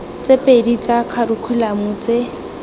tse pedi tsa kharikhulamo tse